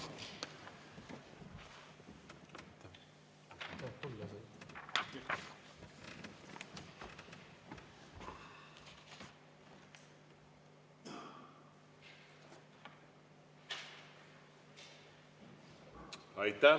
Aitäh!